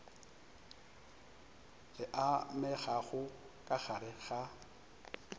le amegago ka gare ga